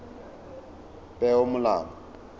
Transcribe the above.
peomolao